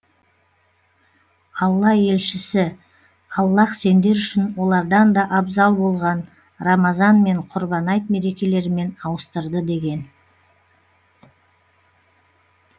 алла елшісі аллаһ сендер үшін олардан да абзал болған рамазан мен құрбан айт мерекелерімен ауыстырды деген